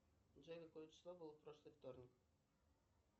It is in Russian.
джой какое число было в прошлый вторник